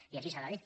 i així s’ha de dir